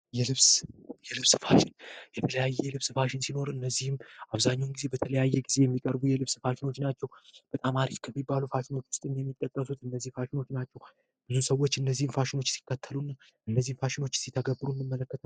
የልብስ ማሽን የልብስ ማሽን ሲኖርህ እንግዲህ የተለያዩ የልብስ ፋሽኖችን በተለያየ ጊዜ ብዙ ሰዎች እነዚህ ፋሽን ሲከተሉ እነዚህን ፋሽኖች ሲተገብሩ እንመለከታለን።